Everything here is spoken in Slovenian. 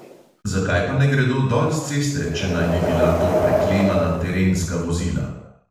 Zakaj pa ne gredo dol s ceste, če naj bi bila to preklemana terenska vozila?